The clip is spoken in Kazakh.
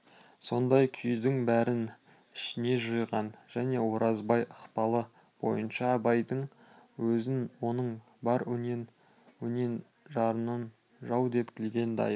сондай күйдің бәрін ішіне жиған және оразбай ықпалы бойынша абайдың өзін оның бар өрен-жаранын жау деп білген дайыр